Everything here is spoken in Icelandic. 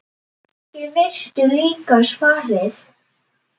Kannski veistu líka svarið.